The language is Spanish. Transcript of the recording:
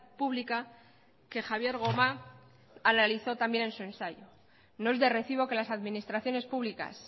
pública que javier gomá analizó también en su ensayo no es de recibo que las administraciones públicas